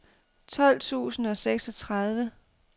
tolv tusind og seksogtredive